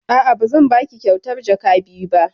A'a, ba zan baki kyautar jaka biyu ba.